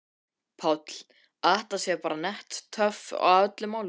Páll: Að þetta sé bara nett töf á öllu málinu?